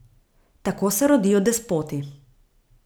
Tako se rodijo despoti.